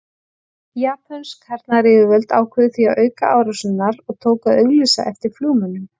Japönsk hernaðaryfirvöld ákváðu því að auka árásirnar og tóku að auglýsa eftir flugmönnum.